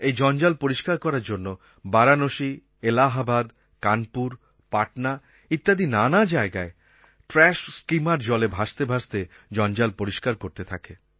এই জঞ্জাল পরিষ্কার করার জন্য বারাণসী এলাহাবাদ কানপুর পাটনা ইত্যাদি নানা জায়গায় ট্রাশ স্কিমার জলে ভাসতে ভাসতে জঞ্জাল পরিষ্কার করতে থাকে